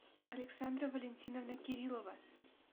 александра валентиновна кириллова